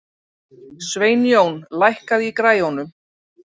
Sveinjón, lækkaðu í græjunum.